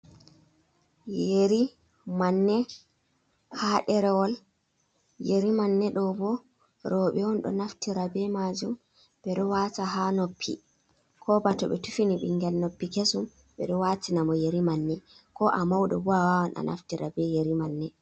Yei manne haa ɗerewol, yeri manne ɗoo boo, rewɓe on ɗo naftira bee maajum ɓe ɗo waata haa noppi ko bato ɓe tuffini ɓinngel noppi kesum ɓe ɗo waatina mo yeri manne ko a mauɗo boo a waawan a naftira be yeri manne.